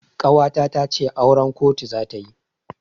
Ƙawata tace auran kotu zata yi.